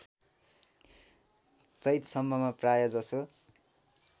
चैतसम्ममा प्रायःजसो